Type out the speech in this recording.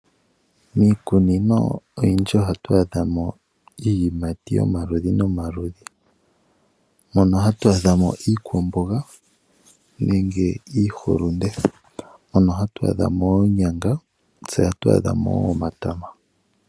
Miikununo oyindji ohatu adhamo iiyimati yomaludhi nomaludhi, mono hatu adhamo iikwamboga nenge iihulunde. Mono hatu adhamo oonyanga noshowoo omatama.